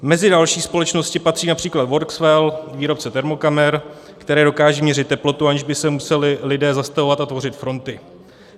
Mezi další společnosti patří například Workswell, výrobce termokamer, které dokážou měřit teplotu, aniž by se museli lidé zastavovat a tvořit fronty.